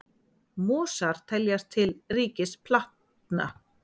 Mosar teljast til ríkis plantna.